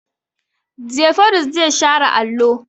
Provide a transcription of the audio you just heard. Jafaru zai share allo.